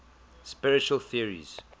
spiritual theories